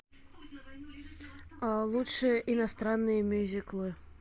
лучшие иностранные мюзиклы